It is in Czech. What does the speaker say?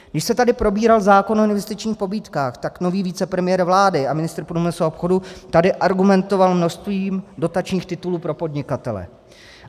Když se tady probíral zákon o investičních pobídkách, tak nový vicepremiér vlády a ministr průmyslu a obchodu tady argumentoval množstvím dotačních titulů pro podnikatele.